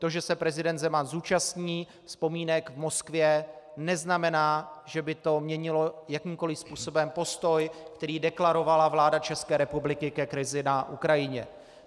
To, že se prezident Zeman zúčastní vzpomínek v Moskvě, neznamená, že by to měnilo jakýmkoliv způsobem postoj, který deklarovala vláda České republiky ke krizi na Ukrajině.